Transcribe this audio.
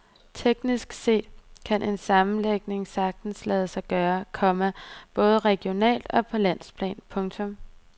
Teknisk set kan en sammenlægning sagtens lade sig gøre, komma både regionalt og på landsplan. punktum